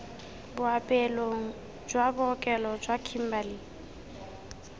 boapeelong jwa bookelo jwa kimberley